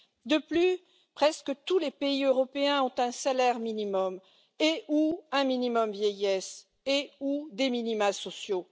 De plus, presque tous les pays européens ont un salaire minimum et ou un minimum vieillesse et ou des minima sociaux.